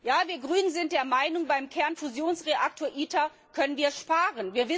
Ja, wir Grünen sind der Meinung, beim Kernfusionsreaktor ITER können wir sparen.